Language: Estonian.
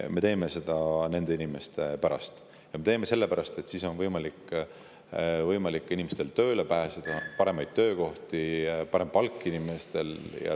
Me teeme seda nende inimeste pärast, ja me teeme seda sellepärast, et siis on inimestel võimalik tööle pääseda, inimestel on parem töökoht ja parem palk.